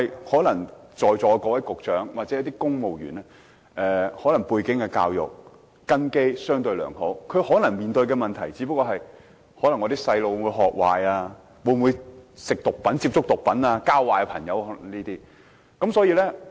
可是，在座各位局長或公務員可能教育背景和根基相對良好，他們面對的問題可能只不過是子女會學壞、會否接觸毒品，甚或誤交損友等。